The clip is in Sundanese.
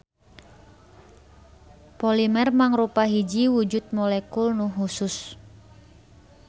Polimer mangrupa hiji wujud molekul nu husus.